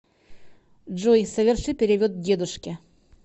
джой соверши перевод дедушке